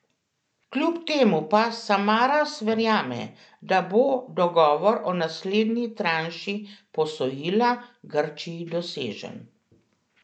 Kljub temu pa Samaras verjame, da bo dogovor o naslednji tranši posojila Grčiji dosežen.